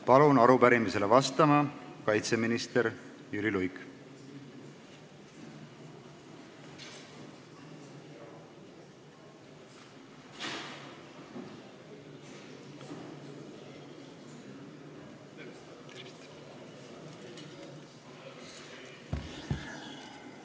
Palun siia arupärimisele vastama kaitseminister Jüri Luige!